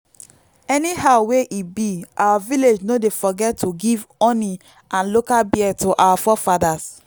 anyhow wey e be our village no dey forget to give honey and local beer to our forefathers.